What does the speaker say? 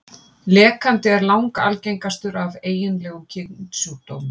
Lekandi er langalgengastur af eiginlegum kynsjúkdómum.